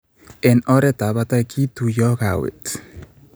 Eng' oretab batet, ketuiyoi kawet.